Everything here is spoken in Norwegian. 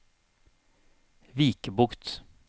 Vikebukt